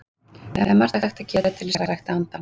Það er margt hægt að gera til þess að rækta andann.